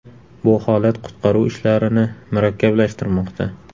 Bu holat qutqaruv ishlarini murakkablashtirmoqda.